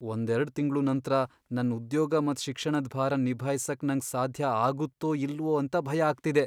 ಒಂದೆರಡ್ ತಿಂಗ್ಳು ನಂತ್ರ ನನ್ ಉದ್ಯೋಗ ಮತ್ ಶಿಕ್ಷಣದ್ ಭಾರನ್ ನಿಭಾಯಿಸಕ್ ನಂಗ್ ಸಾಧ್ಯ ಆಗುತ್ತೋ ಇಲ್ವೋ ಅಂತ ಭಯ ಆಗ್ತಿದೆ.